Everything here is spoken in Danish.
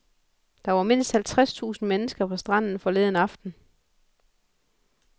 Der var mindst halvtreds tusind mennesker på stranden forleden aften.